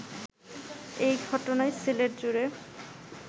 এ ঘটনায় সিলেটজুড়ে